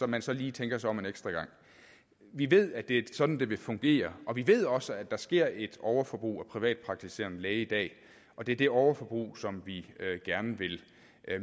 man så lige tænker sig om en ekstra gang vi ved at det er sådan det vil fungere og vi ved også at der sker et overforbrug af privatpraktiserende læge i dag og det er det overforbrug som vi gerne vil